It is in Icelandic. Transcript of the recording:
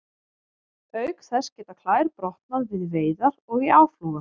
Auk þess geta klær brotnað við veiðar og í áflogum.